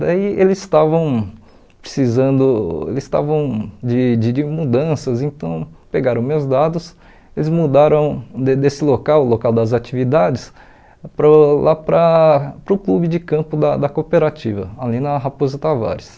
Daí eles estavam precisando eles estavam de de de mudanças, então pegaram meus dados, eles mudaram de desse local, local das atividades, para o lá para para o clube de campo da da cooperativa, ali na Raposo Tavares.